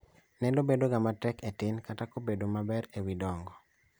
Neno bedo ga matek e tin kata kobedo maber e wi dongo